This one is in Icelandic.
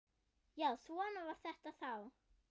Já, svona var þetta þá.